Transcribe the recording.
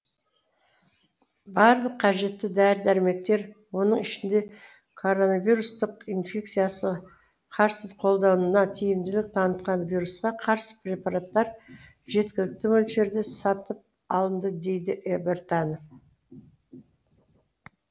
барлық қажетті дәрі дәрмектер оның ішінде коронавирустық инфекциясы қарсы қолдануда тиімділік танытқан вирусқа қарсы препараттар жеткілікті мөлшерде сатып алынды дейді біртанов